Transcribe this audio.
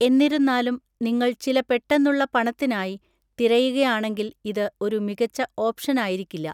എന്നിരുന്നാലും, നിങ്ങൾ ചില പെട്ടെന്നുള്ള പണത്തിനായി തിരയുകയാണെങ്കിൽ ഇത് ഒരു മികച്ച ഓപ്ഷനായിരിക്കില്ല.